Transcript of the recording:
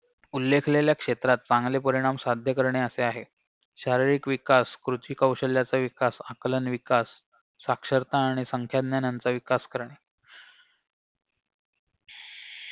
करणे असे आहे शारीरिक विकास कृतिकौशल्याचा विकास आकलन विकास साक्षरता आणि संख्याज्ञानाचा विकास विकास करणे